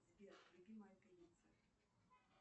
сбер любимая певица